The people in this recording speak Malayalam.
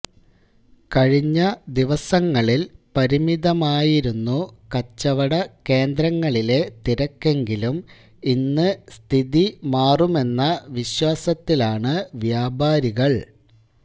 കഴിഞ്ഞ ദിവസങ്ങളില് പരിമിതമായിരുന്നു കച്ചവട കേന്ദ്രങ്ങളിലെ തിരക്കെങ്കിലും ഇന്ന് സ്ഥിതി മാറുമെന്ന വിശ്വാസത്തിലാണ് വ്യാപാരികള്